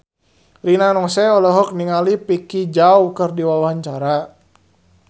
Rina Nose olohok ningali Vicki Zao keur diwawancara